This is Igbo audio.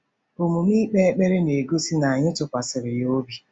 Omume ikpe ekpere na-egosi na anyị tụkwasịrị ya obi.